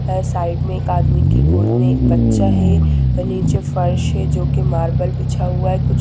है साइड में एक आदमी की गोद में एक बच्चा है नीचे फर्श है जो कि मार्बल बिछा हुआ है जो--